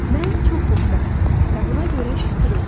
Mən çox xoşbəxtəm və buna görə şükür edirəm.